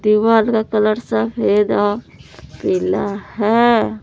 दीवाल का कलर सफेद और पीला है।